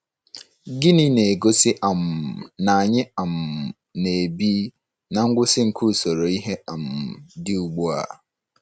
Gịnị na-egosi um na anyị um na-ebi ná ngwụsị nke usoro ihe um dị ugbu a?